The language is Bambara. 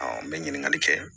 n bɛ ɲininkali kɛ